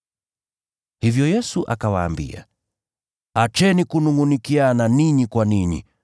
Hivyo Yesu akawaambia, “Acheni kunungʼunikiana ninyi kwa ninyi.